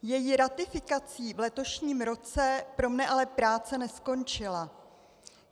Její ratifikací v letošním roce pro mne ale práce neskončila.